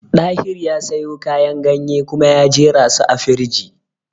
Dahiru ya sayo kayan ganye kuma ya jerasu a firiji